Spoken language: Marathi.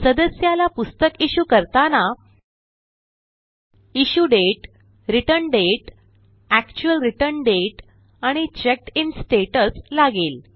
सदस्याला पुस्तक issueकरताना issue date return date actual return date आणि चेक्ड इन स्टॅटस लागेल